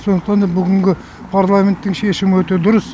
сондықтан да бүгінгі парламенттің шешімі өте дұрыс